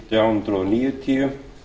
nítján hundruð níutíu